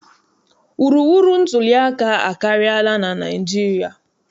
Wuruwuru ntuliaka akarịala na Naịjirịa.